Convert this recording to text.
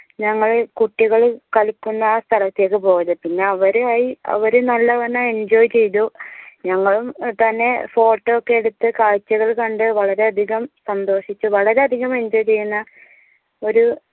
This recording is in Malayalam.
ഞങ്ങൾ കുട്ടികൾ കളിക്കുന്ന സ്ഥലത്തേക്ക് പോയത് പിന്നെ അവരയി അവര് നല്ലവണ്ണം enjoy ചെയ്തു ഞങ്ങളും തന്നെ photo ഒക്കെ എടുത്ത് കാഴ്ചകൾ കണ്ട് വളരെ അധികം സന്തോഷിച്ച വളരെ അധികം enjoy ചെയ്യുന്ന